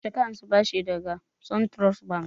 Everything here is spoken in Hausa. Yaushe ka ansa bashi daga suntrust bank?